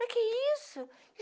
Para que isso?